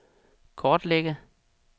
kortlægge